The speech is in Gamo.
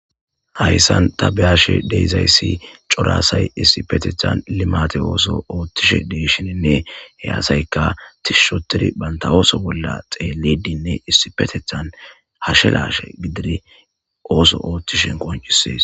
hayssan tabiyashe deyzayssi corasay issipetethan limate ooso oothtishe deeshininne heyasayka tishushotiri banta ooso bolla xeelidinne issipetethan hashelashe gidiri ooso oothtishen qoncisees